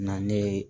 Na ne ye